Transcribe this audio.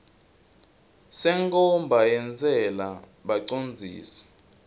senkhomba yentsela bacondzisi